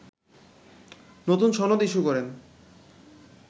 নতুন সনদ ইস্যু করেন